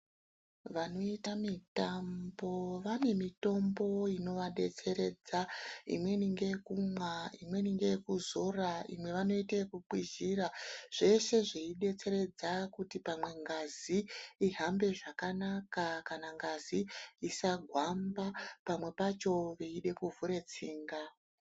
Vanoita mitambo vanemitombo inovadetseredza, imweni ngeyekumwa, imweni ngeyekuzora, imwe ngeyekukwizhira, zvese zveidetseredza kuti pamwe ngazi ihambe zvakanaka kana ngazi isagwamba pamwe pacho veida kuvhure tsinga.